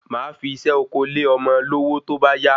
Mafi isé oko le ọmọ lówó tóbá yá